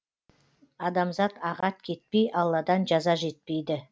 адамзат ағат кетпей алладан жаза жетпейді